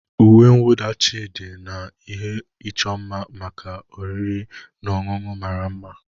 Uwe mwụda Chidi na ihe ịchọ mma maka oriri na ọṅụṅụ mara mma.